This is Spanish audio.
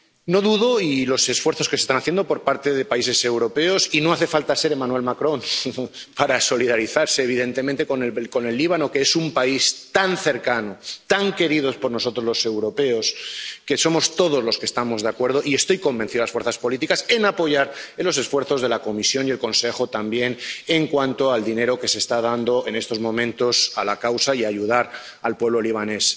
No dudo de los esfuerzos que se están haciendo por parte de países europeos —y no hace falta ser Emmanuel Macron— para solidarizarse evidentemente con el Líbano, que es un país tan cercano, tan querido por nosotros, los europeos, que estamos todos de acuerdo —y estoy convencido de que las fuerzas políticas también— en apoyar los esfuerzos de la Comisión y el Consejo también en cuanto al dinero que se está dando en estos momentos a la causa y a ayudar al pueblo libanés.